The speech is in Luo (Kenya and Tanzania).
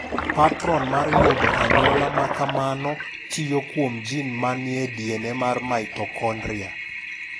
Patron mar yudo anyuola ma kamano tiyo kuom jin ma ni e DNA mar mitokondria.